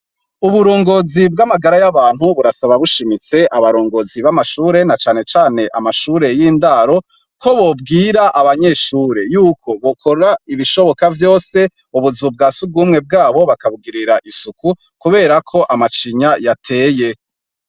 Uburongozi bw'amagara y'abantu burasaba bushimitse abarongozi b'amashure nacanecane amashure y'indaro ko bobwira abanyeshure yuko bokora ibishoboka vyose ubuzu bwasugwumwe bwabo bakabugirira isuku kuberako amacinya yateye.